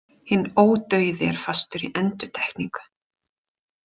Hinn ódauði er fastur í endurtekningu.